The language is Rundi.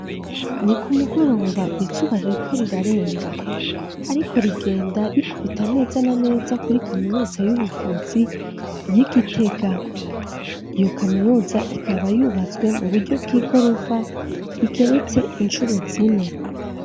Niku mugoroba izuba ririko rirarenga ariko rigenda rikubita neza na neza kuri kaminuza y'ubuvuzi yi Gitega .Iyo kaminuza ikaba yubatswe mu buryo bw'igorofa igeretse inshuro zine.